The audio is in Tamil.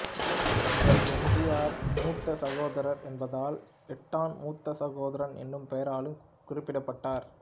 இவர் எம் ஜி ஆரின் மூத்த சகோதரர் என்பதால் ஏட்டன் மூத்த சகோதரன் எனும் பெயராலும் குறிப்பிடப்பட்டார்